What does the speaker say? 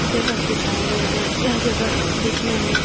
जगह दिखाया गया है। यह जगह दिखने में --